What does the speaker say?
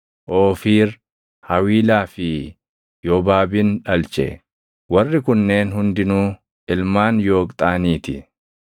Oofiir, Hawiilaa fi Yoobaabin dhalche. Warri kunneen hundinuu ilmaan Yooqxaanii ti.